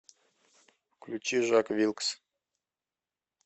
включи жак вилкс